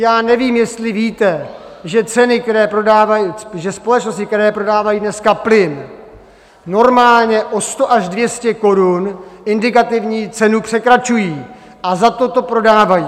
Já nevím, jestli víte, že společnosti, které prodávají dneska plyn, normálně o 100 až 200 korun indikativní cenu překračují a za to to prodávají.